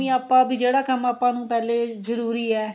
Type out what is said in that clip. ਆਪਾਂ ਵੀ ਜਿਹੜਾ ਕੰਮ ਆਪਾਂ ਨੂੰ ਪਹਿਲੇ ਜਰੂਰੀ ਏ